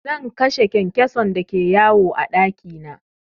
Zan kashe kyankyason da ke yawo a ɗaki na.